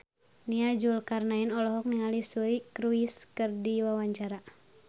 Nia Zulkarnaen olohok ningali Suri Cruise keur diwawancara